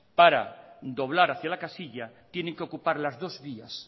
para doblar hacia la casilla tienen que ocupar las dos vías